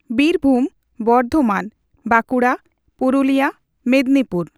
Birbhum, Bardhaman, Bankura, Purulia, Medinipur